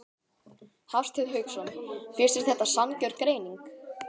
Hafsteinn Hauksson: Finnst þér þetta sanngjörn greining?